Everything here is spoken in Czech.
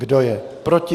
Kdo je proti?